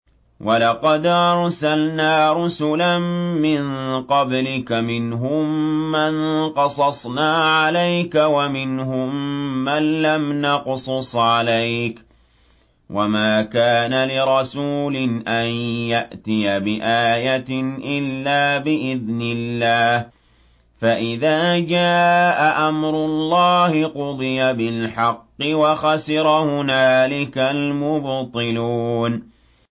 وَلَقَدْ أَرْسَلْنَا رُسُلًا مِّن قَبْلِكَ مِنْهُم مَّن قَصَصْنَا عَلَيْكَ وَمِنْهُم مَّن لَّمْ نَقْصُصْ عَلَيْكَ ۗ وَمَا كَانَ لِرَسُولٍ أَن يَأْتِيَ بِآيَةٍ إِلَّا بِإِذْنِ اللَّهِ ۚ فَإِذَا جَاءَ أَمْرُ اللَّهِ قُضِيَ بِالْحَقِّ وَخَسِرَ هُنَالِكَ الْمُبْطِلُونَ